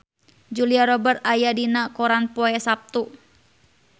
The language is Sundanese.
Julia Robert aya dina koran poe Saptu